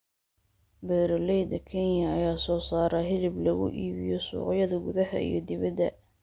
Beeraleyda Kenya ayaa soo saara hilib lagu iibiyo suuqyada gudaha iyo dibadda.